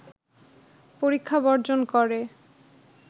পরীক্ষা বর্জন করে